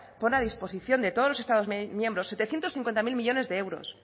pone a disposición de todos los estados miembros setecientos cincuenta mil millónes de euros